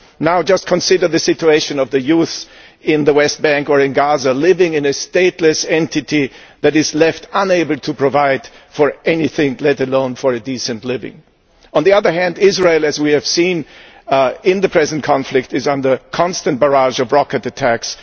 Now just consider the situation of the youth in the West Bank or in Gaza, living in a stateless entity that is left unable to provide for anything, let alone for a decent living. On the other hand Israel, as we have seen in the present conflict, is under a constant barrage of rocket attacks.